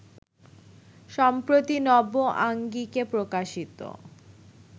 সম্প্রতি নব আঙ্গিকে প্রকাশিত